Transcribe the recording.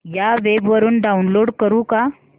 या वेब वरुन डाऊनलोड करू का